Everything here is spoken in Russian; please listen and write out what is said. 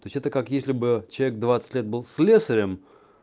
то есть это как если бы человек двадцать лет был слесарем